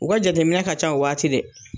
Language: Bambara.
U ka jateminɛ ka ca o waati dɛ